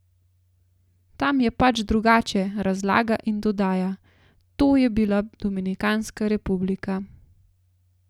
Tam je pač drugače, razlaga in dodaja: "To je bila Dominikanska Republika.